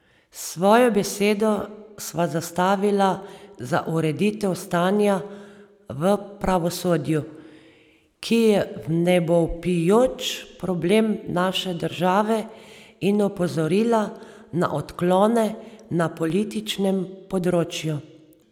Svojo besedo sva zastavila za ureditev stanja v pravosodju, ki je vnebovpijoč problem naše države, in opozorila na odklone na političnem področju.